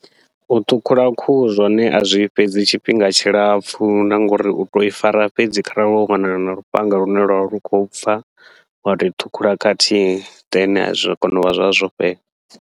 U ṱhukhula khuhu zwone azwi fhedzi tshifhinga tshilapfhu, na ngauri utou i fara fhedzi kharali wo wana na lufhanga lune lwavha lu khou pfha, wa toi ṱhukhula khathihi then zwa kona uvha zwavha zwo fhela.